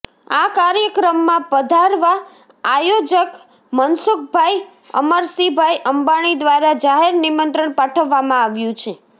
આ કાર્યક્રમમાં પધારવા આયોજક મનસુખભાઇ અમરશીભાઈ અંબાણી દ્વારા જાહેર નિમંત્રણ પાઠવવામાં આવ્યું છે